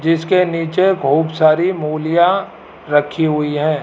जिसके नीचे बहुत सारी मूलीया रखी हुई हैं।